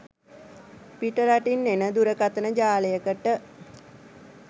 පිටරටින් එන දුරකතන ජාලයකට